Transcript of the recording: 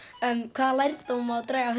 hvaða lærdóm má draga af